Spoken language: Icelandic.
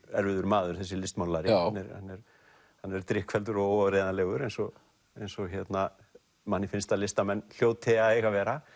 erfiður maður þessi listmálari hann er hann er drykkfelldur og óáreiðanlegur eins og eins og manni finnst að listamenn hljóti að eiga að vera